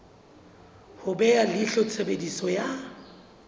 ho beha leihlo tshebediso ya